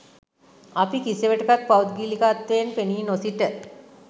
අපි කිසිවිටකත් පෞද්ගලිකත්වයෙන් පෙනී නොසිට